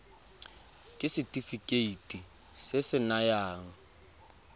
ke setefikeiti se se nayang